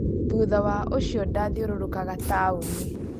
Thutha wa ucio ndathirorokaga taoni